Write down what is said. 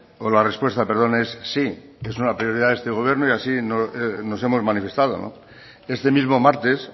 o la respuesta perdón es sí es una prioridad de este gobierno y así nos hemos manifestado este mismo martes